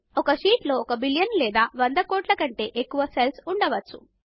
ఒక షీట్ను లో ఒక బిలియన్ లేదా వంద కోట్ల కంటే ఎక్కువ సెల్స్ ఉండవచ్చు